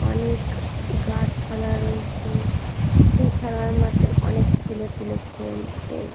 অনেক গাছপালা রয়েছে। সেই খেলার মাঠে অনেক ছেলেপুলে খেলছে।